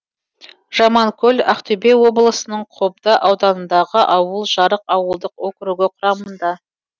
жаманкөл ақтөбе облысының қобда ауданындағы ауыл жарық ауылдық округі құрамында